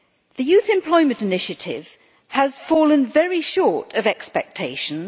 The Youth Employment Initiative has fallen very short of expectations.